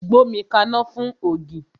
Gbómi kaná fún ògì!